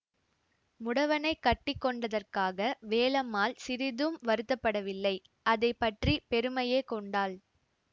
முடவனைக் கட்டி கொண்டதற்காக வேலம்மாள் சிறிதும் வருத்தப்படவில்லை அதை பற்றி பெருமையே கொண்டாள்